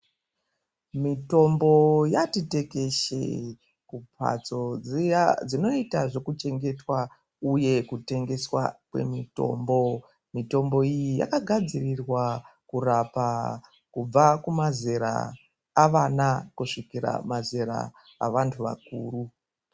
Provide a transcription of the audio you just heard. Mitombo yati tekeshe kumhatso dziya dzinota dzekutengeswa, uye kutengeswa kwemitombo. Mitombo iyi yakagadzirirwa kurapa kubva kumazera avana kusvikira kumazera evantu vakuru.